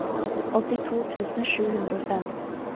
åttito tusen sju hundre og fem